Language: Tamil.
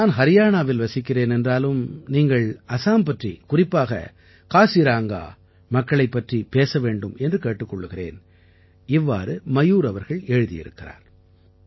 நான் ஹரியானாவில் வசிக்கிறேன் என்றாலும் நீங்கள் அசாம் பற்றி குறிப்பாக காசிரங்கா மக்களைப் பற்றிப் பேச வேண்டும் என்று கேட்டுக் கொள்கிறேன் இவ்வாறு மயூர் அவர்கள் எழுதியிருக்கிறார்